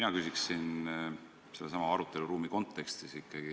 Ma küsin ikkagi sellesama aruteluruumi kontekstis.